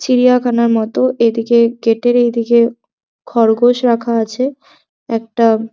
চিড়িয়াখানার মতো এদিকে গেট এর এইদিকে খরগোশ রাখা আছে একটা --